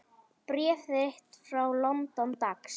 Bréf þitt frá London, dags.